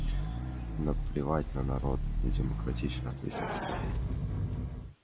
наплевать на народ недемократично ответил сергей